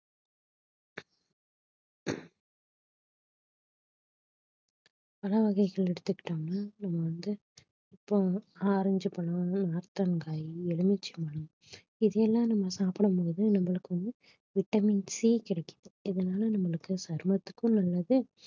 பழ வகைகள் எடுத்து கிட்டோம்னா நம்ம வந்து இப்ப ஆரஞ்சு பழம் நார்த்தங்காய் எலுமிச்சை பழம் இதையெல்லாம் நம்ம சாப்பிடும் போது நம்மளுக்கு வந்து vitamin C கிடைக்குது இதனால நம்மளுக்கு சருமத்துக்கும் நல்லது